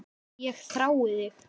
Ég þrái þig